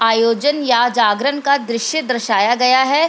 आयोजन या जागरण का दृश्य दर्शाया गया है।